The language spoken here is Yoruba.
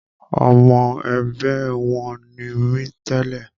Ọmọ ẹgbẹ́ wọn ni mí tẹ́lẹ̀